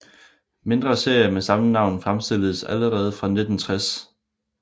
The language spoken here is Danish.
Mindre serier med samme navn fremstilledes allerede fra 1960